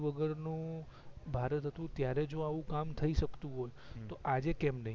વગર નું ભારત હતું ત્યારે જો આવું કામ થઈ સક્તુ હોય હમ તો આજે કેમ નય